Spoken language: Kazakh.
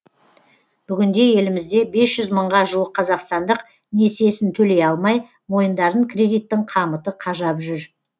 бүгінде елімізде бес жүз мыңға жуық қазақстандық несиесін төлей алмай мойындарын кредиттің қамыты қажап жүр